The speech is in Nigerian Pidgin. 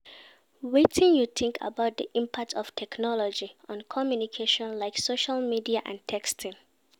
Wetin you think about di impact of technology on communication, like social media and texting?